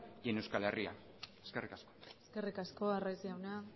y en euskal herria eskerrik asko eskerrik asko arraiz jauna